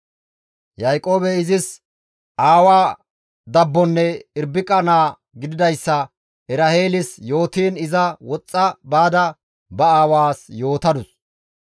Yaaqoobey izis aawa dabbonne Irbiqa naa gididayssa Eraheelis yootiin iza woxxa baada ba aawaas yootadus.